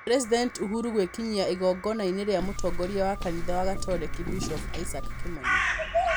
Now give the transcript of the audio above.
President Uhuru gwikinyia igongonainĩ rĩa mũtongoria wa kanitha wa Gatoreki, bishovu Isaack Kĩmani